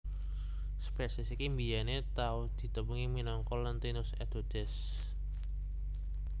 Spesies iki mbiyèné tau ditepungi minangka Lentinus edodes